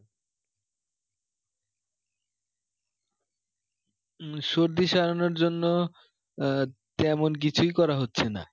সর্দি সারানোর জন্য আহ তেমন কিছুই করা হচ্ছে না